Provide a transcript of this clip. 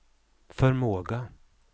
förmåga